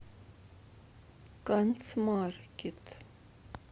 канцмаркет